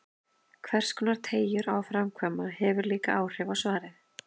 Hverskonar teygjur á að framkvæma, hefur líka áhrif á svarið.